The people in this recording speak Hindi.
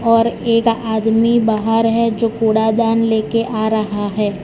और एक आदमी बाहर है जो कूड़ादान ले के आ रहा है।